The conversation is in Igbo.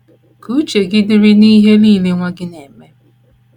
Ka uche gị dịrị n’ihe nile nwa gị na - eme.